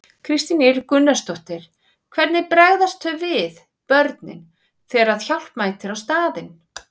Kristín Ýr Gunnarsdóttir: Hvernig bregðast þau við, börnin, þegar að hjálp mætir á staðinn?